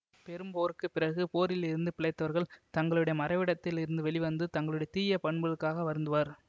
பெரும்போருக்கு பிறகு போரில் இருந்து பிழைத்தவர்கள் தங்களுடைய மறைவிடத்தில் இருந்து வெளி வந்து தங்களுடைய தீய பண்புகளுக்காக வருந்துவர்